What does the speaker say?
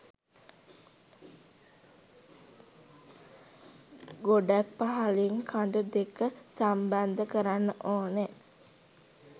ගොඩක් පහළින් කඳු දෙක සම්බන්ධ කරන්න ඕනෑ.